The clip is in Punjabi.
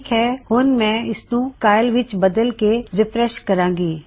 ਠੀਕ ਹੈ ਹੁਣ ਮੈਂ ਇਸਨੂੰ ਕਾਈਲ ਕਾਇਲ ਵਿੱਚ ਬਦਲਕੇ ਰਿਫਰੈਸ਼ ਕਰਾਂ ਗੀ